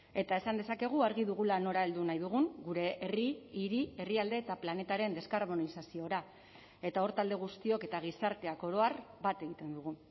eta esan dezakegu argi dugula nora heldu nahi dugun gure herri hiri herrialde eta planetaren deskarbonizaziora eta hor talde guztiok eta gizarteak oro har bat egiten dugu